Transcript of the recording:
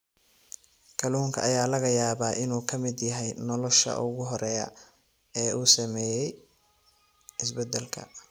Kalluunka ayaa laga yaabaa inuu ka mid yahay noolaha ugu horreeya ee uu saameeyay isbeddelka.